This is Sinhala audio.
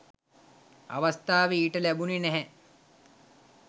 අවස්ථාව ඊට ලැබුණේ නැහැ.